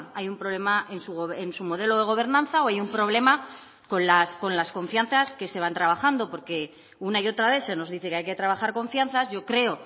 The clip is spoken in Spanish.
hay un problema en su modelo de gobernanza o hay un problema con las confianzas que se van trabajando porque una y otra vez se nos dice que hay que trabajar confianzas yo creo